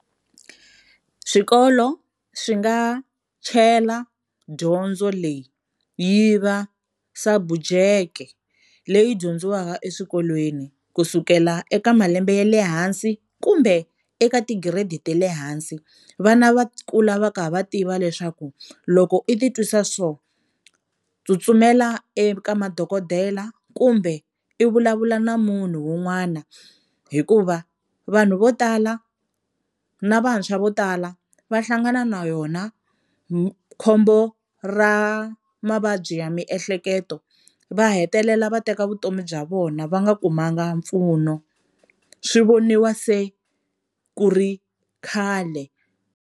Swikolo swi nga chela dyondzo leyi yi va subject leyi dyondziwaka eswikolweni kusukela eka malembe ya le hansi kumbe eka tigiredi ta le hansi, vana va kula va kha va tiva leswaku loko i titwisa so tsutsumela eka madokodela kumbe i vulavula na munhu un'wana, hikuva vanhu vo tala na vantshwa vo tala va hlangana na yona khombo ra mavabyi ya miehleketo va hetelela va teka vutomi bya vona va nga kumanga mpfuno, swi voniwa se ku ri khale.